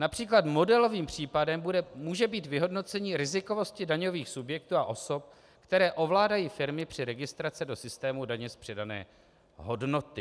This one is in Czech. Například modelovým případem může být vyhodnocení rizikovosti daňových subjektů a osob, které ovládají firmy při registraci do systému daně z přidané hodnoty.